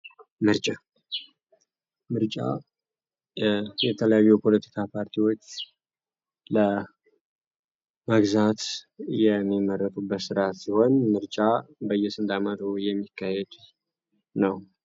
ምርጫ ምርጫ የተለያዩ የፖለቲካ ፓርቲዎች ለራሴ ወንድ ምርጫ በየሱሰ የሚካሄድ ነው ስርዓት ላይ ያተኮረችውን በጣም አሪፍ ፓርቲ ነው